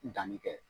Danni kɛ